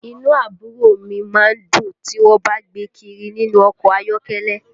Inú àbúrò mi má ń dùn tí wọ́n bá ń gbé e kiri nínú ọkọ̀ ayọ́kẹ́lẹ́